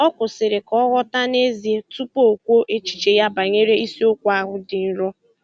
Ọ kwụsịrị ka ọ ghọta nezie tupu o kwuo echiche ya banyere isiokwu ahụ dị nrọ